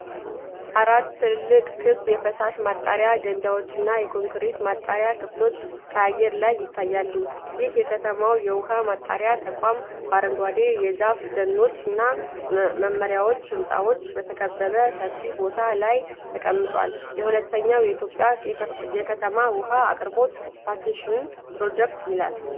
አራት ትልልቅ ክብ የፍሳሽ ማጣሪያ ገንዳዎችና የኮንክሪት ማጣሪያ ክፍሎች ከአየር ላይ ይታያሉ። ይህ የከተማው የውሃ ማጣሪያ ተቋም በአረንጓዴ የዛፍ ደኖችና በመኖሪያ ሕንፃዎች በተከበበ ሰፊ ቦታ ላይ ተቀምጧል። "የሁለተኛው ኢትዮጵያ የከተማ ውሃ አቅርቦት ሳቲቴሽን ፕሮጀክት" ይላል።